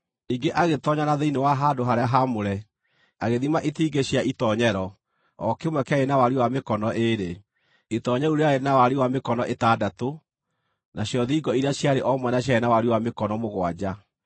Ningĩ agĩtoonya na thĩinĩ wa handũ-harĩa-haamũre, agĩthima itingĩ cia itoonyero; o kĩmwe kĩarĩ na wariĩ wa mĩkono ĩĩrĩ. Itoonyero rĩu rĩarĩ na wariĩ wa mĩkono ĩtandatũ, nacio thingo iria ciarĩ o mwena ciarĩ na wariĩ wa mĩkono mũgwanja.